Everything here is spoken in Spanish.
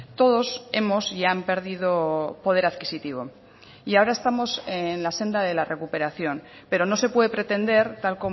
todos hemos y han perdido poder adquisitivo y ahora estamos en la senda de la recuperación pero no se puede pretender tal